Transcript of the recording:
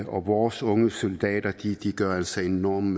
og vores unge soldater gør altså en enorm